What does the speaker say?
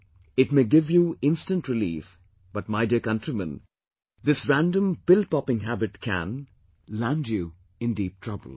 It may give you instant relief, but my dear countrymen, this random pill popping habit can land you in deep trouble